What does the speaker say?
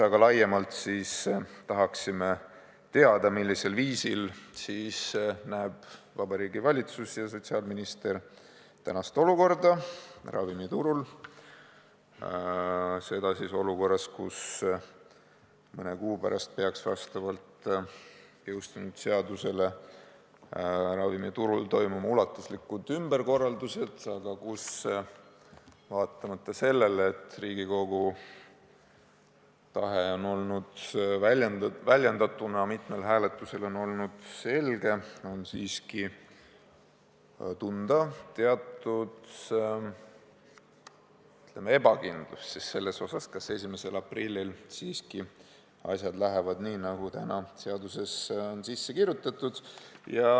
Aga laiemalt tahaksime teada, millisel viisil näevad Vabariigi Valitsus ja sotsiaalminister tänast olukorda ravimiturul, seda olukorras, kus mõne kuu pärast peaksid vastavalt jõustunud seadusele ravimiturul toimuma ulatuslikud ümberkorraldused, aga kus, vaatamata sellele, et Riigikogu tahe, väljendatuna mitmel hääletusel, on olnud selge, on tunda teatud, ütleme, ebakindlust selles, kas 1. aprillil siiski asjad lähevad nii, nagu täna seadusesse on kirjutatud.